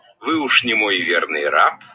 вы уж немой верный раб